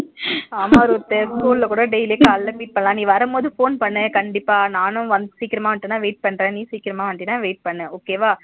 ஆமா Ruth school ல கூட daily காலையில meet பண்ணலாம் நீ வரும்போது phone பண்ணு கண்டிப்பா நானும் வந்து சீக்கிரமா வந்துட்ட wait பண்ற நீ சீக்கிரமா வந்துட்ட wait பண்ணு okay வா